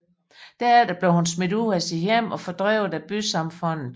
Derefter blev hun smidt ud af sit hjem og fordrevet af bysamfundet